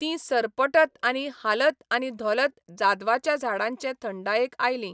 तीं सरपटत आनी हालतआनी धोलत जादवाच्या झाडांचे थंडायेक आयलीं.